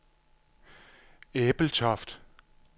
Ebeltoft